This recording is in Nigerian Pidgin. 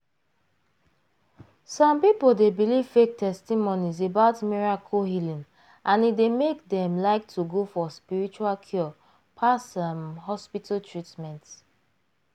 some people dey believe fake testimonies about miracle healing and e dey make dem like to go for spiritual cure pass um hospital treatment.